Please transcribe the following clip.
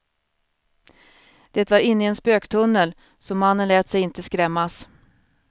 Det var inne i en spöktunnel, så mannen lät sig inte skrämmas.